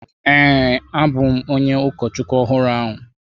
Ee, abụ m onye ụkọchukwu ọhụrụ ahụ.